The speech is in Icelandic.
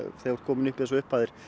þú ert kominn upp í þessar upphæðir